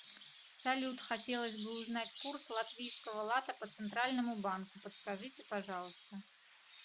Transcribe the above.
салют хотелось бы узнать курс латвийского лата по центральному банку подскажите пожалуйста